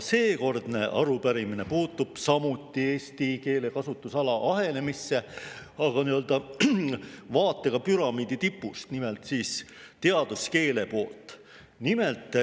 Seekordne arupärimine puudutab samuti eesti keele kasutusala ahenemist, aga vaatega püramiidi tipust, nimelt teaduskeele poolt.